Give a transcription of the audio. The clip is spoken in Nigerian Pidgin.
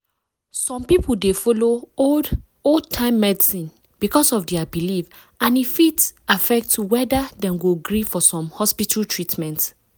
some people dey follow old-time medicine because of their belief and e fit affect whether dem go gree for some hospital treatment.